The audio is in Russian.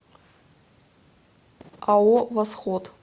ао восход